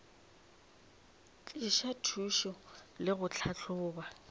tliša thušo le go tlhahloba